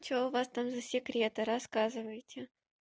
что у вас там за секреты рассказываете